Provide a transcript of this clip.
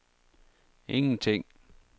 ingenting